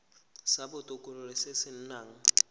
sa botokololo se se nang